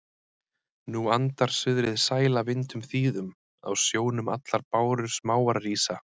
Nú andar suðrið sæla vindum þýðum, á sjónum allar bárur smáar rísa